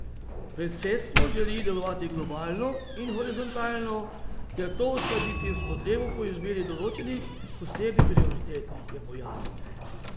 Predsedstvo želi delovati globalno in horizontalno ter to uskladiti s potrebo po izbiri določenih posebnih prioritet, je pojasnil.